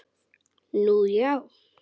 Nú, já?